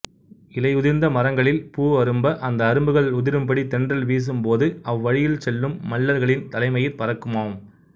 இலை உதிர்ந்த மரங்களில் பூ அரும்ப அந்த அரும்புகள் உதிரும்படி தென்றல் வீசும்போது அவ்வழியில் செல்லும் மள்ளர்களின் தலைமயிர் பறக்குமாம்